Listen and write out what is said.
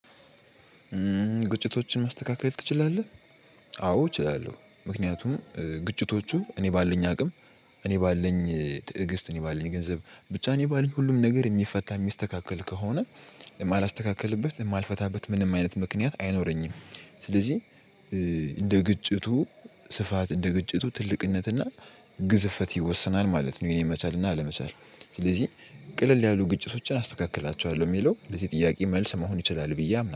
ግጭቶችን ማስተካከል ትችላለህ? አዎ እችላለሁ ምክንያቱም ግጭቶቹ እኔ ባለኝ አቅም እኔ ባለኝ ትዕግስት እኔ ባለኝ ገንዘብ ብቻ እኔ ባለኝ ሁሉም ነገር የሚፈታ የሚስተካከል ከሆነ የማላስተካክልበት የማልፈታበት ምንም አይነት ምክንያት አይኖረኝም። ስለዚህ እንደ ግጭቱ ስፋት እንደ ግጭቱ ትልቅነትና ግዝፈት ይወሰናል ማለት ነው። የኔ መቻልና አለመቻል ስለዚህ ቀልል ያሉ ግጭቶችን አስተካክላቸዋለሁ የሚለው ለዚህ ጥያቄ መልስ መሆን ይችላል። ብዬ አምናለሁ